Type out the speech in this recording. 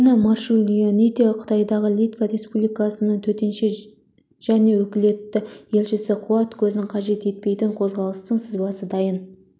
инна марчулионитэ қытайдағы литва республикасының төтенше және өкілетті елшісі қуат көзін қажет етпейтін қозғалтқыштың сызбасы дайын